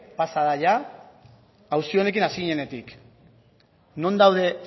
pasa da jada auzi honekin hasi ginenetik non daude